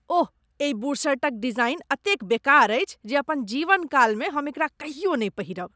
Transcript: ओह! एहि बुशर्टक डिजाइन एतेक बेकार अछि जे अपन जीवनकालमे हम एकरा कहियो नहि पहिरब।